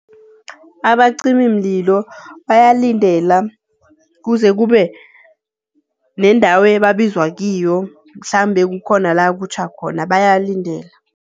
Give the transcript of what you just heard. Abacimimlilo bayalindela kuze kube nendawo ababizwa kiyo, mhlambe kukhona la kutjha khona, bayalindela.